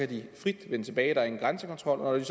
de frit vende tilbage der er ingen grænsekontrol og